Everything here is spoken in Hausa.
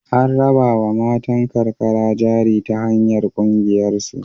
An rabawa matan karkara jari ta hanyar ƙungiyarsu.